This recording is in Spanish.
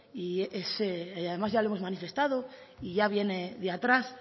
y además ya lo hemos manifestado y ya viene de atrás